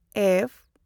F